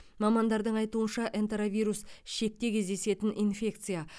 мамандардың айтуынша энтеровирус ішекте кездесетін инфекция